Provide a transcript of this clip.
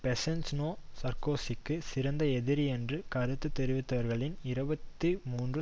Besancenot சார்க்கோசிக்கு சிறந்த எதிரி என்று கருத்து தெரிவித்தவர்களில் இருபத்தி மூன்று